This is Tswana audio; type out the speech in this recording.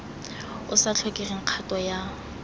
o sa tlhokeng kgato ya